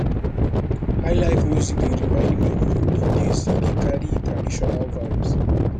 highlife music dey remind me of olden days e dey carry traditional vibes